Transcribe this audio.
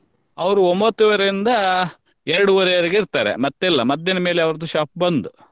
ಅವ್ರು ಒಂಬತ್ ವರೆಯಿಂದ ಎರಡುವರೆ ವರ್ಗೆ ಇರ್ತಾರೆ ಮತ್ತೆ ಇಲ್ಲ ಮಧ್ಯಾಹ್ನ ಮೇಲೆ ಅವರ shop ಬಂದ್.